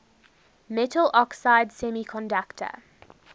metal oxide semiconductor